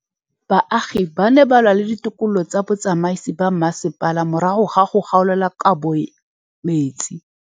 Baagi ba ne ba lwa le ditokolo tsa botsamaisi ba mmasepala morago ga go gaolelwa kabo metsi.